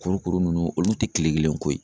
Kurukuru nunnu olu te kile kelen ko ye.